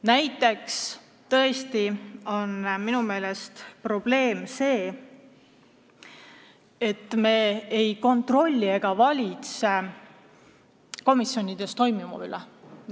Näiteks tõesti on minu meelest probleem see, et meil ei ole kontrolli komisjonides toimuva üle.